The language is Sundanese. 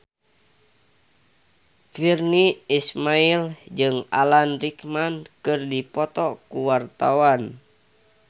Virnie Ismail jeung Alan Rickman keur dipoto ku wartawan